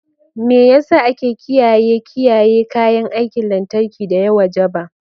Me yasa ake kiyaye kiyaye kayan aikin lantarki da ya wajaba?